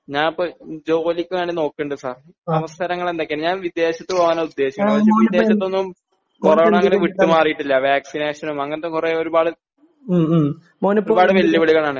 ഞാൻ ഇപ്പോ ജോലിക്ക് വേണ്ടി നോക്കുണ്ട് സർ അവസരങ്ങള് എന്തൊക്കെയാണ് ഞാൻ ഇപ്പോ വിദേശത്ത് പോകാനാണ് ഉദ്ദേശിക്കുന്നത്. വിദേശത്തൊന്നും കൊറോണ അങ്ങനെ വിട്ടു മാറിയിട്ടില്ല . വാക്സിനേഷനും അങ്ങനത്തെ കുറെ ഒരു പാട് വേള് വിളികളാണ്